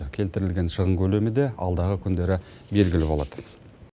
келтірілген шығын көлемі де алдағы күндері белгілі болады